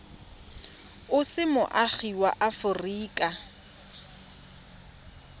o se moagi wa aforika